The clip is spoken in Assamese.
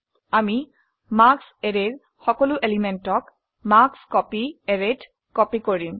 আমি মাৰ্কছ অ্যাৰেৰ সকলো এলিমেন্টক মাৰ্কস্কপী অ্যাৰেত কপি কৰিম